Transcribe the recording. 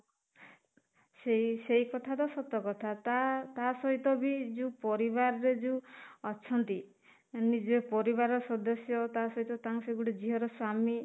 ସେଇ ସେଇ କଥା ତ ସତ କଥା ତା ତା ସହିତ ବି ଯୋଉ ପରିବାର ରେ ଯୋଉ ଅଛନ୍ତି ମାନେ ଯିଏ ପରିବାରର ସଦସ୍ୟ ତା ସହିତ ତାଙ୍କ ସିଏ ଗୋଟେ ଝିଅର ସ୍ୱାମୀ